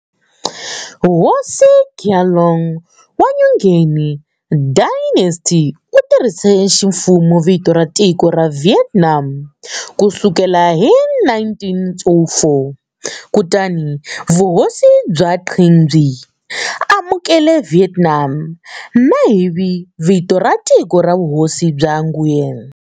Hosi Gia Long wa Nguyen Dynasty u tirhise ximfumo vito ra tiko ra"Vietnam" ku sukela hi 1804. Kutani Vuhosi bya Qing byi amukele"Vietnam" tanihi vito ra tiko ra Vuhosi bya Nguyen.